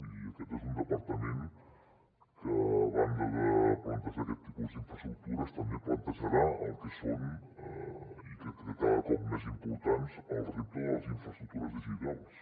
i aquest és un departament que a banda de plantejar aquest tipus d’infraestructures també plantejarà el que són i crec que cada cop més importants els reptes de les infraestructures digitals